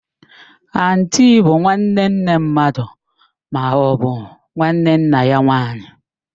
Antii bụ nwanne nne mmadụ maọbụ nwanne nna ya nwaanyị